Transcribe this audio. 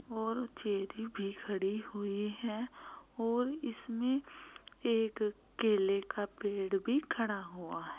और चेरी भी खड़े हुए हैं और इसमें एक केले का पेड़ भी खड़ा हुआ है।